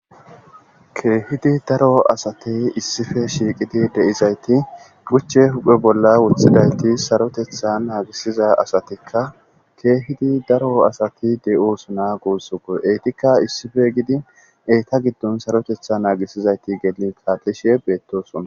keehidi daro asatey issife shiiqidi de7izayti guchche huphe bolla wuthidayti sarotetha naagisiza asatikka keehidi daro asati de7u suna guussuko eytikka issife gidin eyta giddon sarotetha naagisizayti gelin kaatlishe beettosuna